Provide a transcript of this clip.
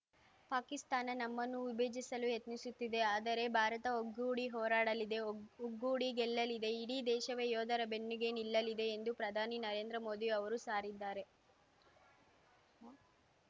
ಪಾಕಿಸ್ತಾನ ನಮ್ಮನ್ನು ವಿಭಜಿಸಲು ಯತ್ನಿಸುತ್ತಿದೆ ಆದರೆ ಭಾರತ ಒಗ್ಗೂಡಿ ಹೋರಾಡಲಿದೆ ಒಗ್ಗೂಡಿ ಗೆಲ್ಲಲಿದೆ ಇಡೀ ದೇಶವೇ ಯೋಧರ ಬೆನ್ನಿಗೆ ನಿಲ್ಲಲಿದೆ ಎಂದು ಪ್ರಧಾನಿ ನರೇಂದ್ರ ಮೋದಿ ಅವರು ಸಾರಿದ್ದಾರೆ